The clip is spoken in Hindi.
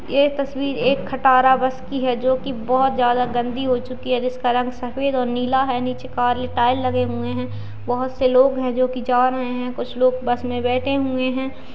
ये तस्वीर एक खटारा बस की है जो कि बहोत ज्यादा गंदी हो चुकी है जिसका रंग सफेद और नीला है नीचे काले टायर लगे हुए हैं बहोत से लोग हैं जो कि जा रहे हैं कुछ लोग बस में बैठे हुए हैं।